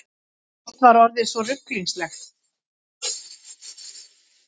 Allt var orðið svo ruglingslegt.